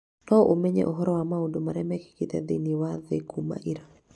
no ũmenye ũhoro wa maũndũ marĩa mekĩkĩte thĩinĩ wa thĩ kuuma ira